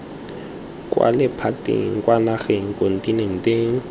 kwa lephateng kwa nageng kontinenteng